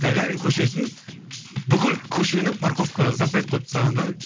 гагарин көшесін бүкіл көшені парковкаға запрет қойып тастаған да